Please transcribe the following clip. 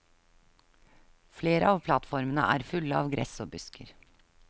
Flere av plattformene er fulle av gress og busker.